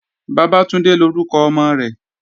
Bàbátúndé lórúkọ ọmọ rẹ̀